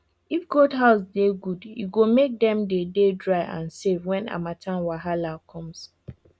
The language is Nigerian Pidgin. if goat house they good e go make them they they dry and safe when harmattan wahala comes